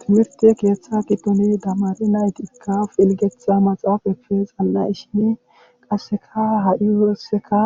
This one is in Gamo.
Timirte keeththa giddoni damari naytikka pilgetha maxaaf efe xan'a ishine qasseka ha'i woreseka